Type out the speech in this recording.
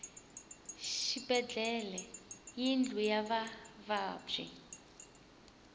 xibedlhele i yindlu ya vavabyi